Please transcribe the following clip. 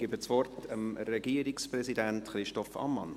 Ich gebe das Wort dem Regierungspräsidenten Christoph Ammann.